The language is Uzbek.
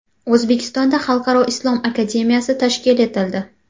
O‘zbekistonda xalqaro islom akademiyasi tashkil etildi.